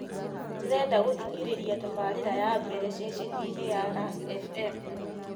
ndĩrenda gũthikĩrĩria tabarĩra ya mbere ceceni-inĩ ya lastfm